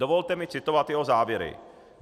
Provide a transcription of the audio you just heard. Dovolte mi citovat jeho závěry.